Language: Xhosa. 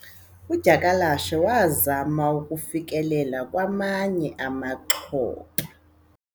udyakalashe wazama ukufikelela kwamanye amaxhoba